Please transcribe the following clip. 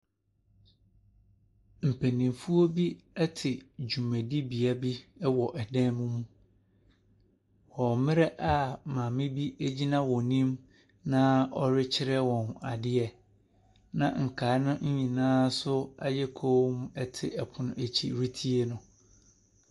Mpanyinfoɔ bi ɛte dwumadibea bi ɛwɔ ɛdɛm mu wɔ mmrɛ a maame bi egyina wɔn anim na ɔretwerɛ wɔn adeɛ. Na nkaeɛ no nyinaa nso ayɛ komm te ɛpono ɛkyi retie no.